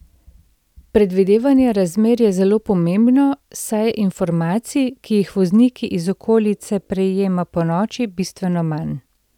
Predvidevanje razmer je zelo pomembno, saj je informacij, ki jih voznik iz okolice prejema ponoči, bistveno manj.